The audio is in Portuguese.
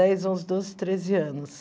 Faz uns doze, treze anos